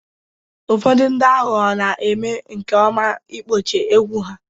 Ụfọdụ ndị aghụghọ na-eme nke ọma n'ikpuchi egwu ha